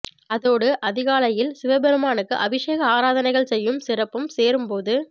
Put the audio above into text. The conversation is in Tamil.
அதோடு அதிகாலையில் சிவபெருமானுக்கு அபிஷேக ஆராதனைகள் செய்யும் சிறப்பும் சேரும் போது